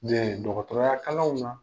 n'iyaye dɔgɔtɔrɔya kalanw na